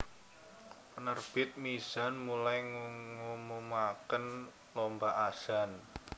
Penerbit Mizan mulai ngumumaken lomba azan